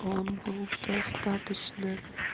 он был достаточно